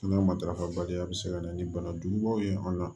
An ka matarafabaliya bɛ se ka na ni banajugubaw ye an la